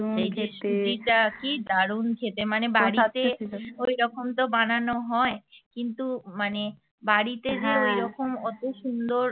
এই যে সুবিধা কী দারুন খেতে মানে বাড়িতে যখন তো বানানো হয় কিন্তু মানে বাড়িতে যে ঐরকম অত সুন্দর